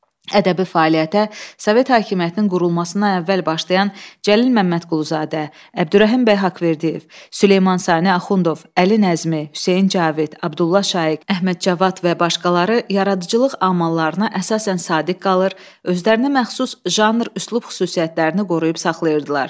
Ədəbi fəaliyyətə Sovet hakimiyyətinin qurulmasından əvvəl başlayan Cəlil Məmmədquluzadə, Əbdürrəhim bəy Haqverdiyev, Süleyman Sani Axundov, Əli Nəzmi, Hüseyn Cavid, Abdulla Şaiq, Əhməd Cavad və başqaları yaradıcılıq amallarına əsasən sadiq qalır, özlərinə məxsus janr, üslub xüsusiyyətlərini qoruyub saxlayırdılar.